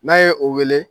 N'a ye o wele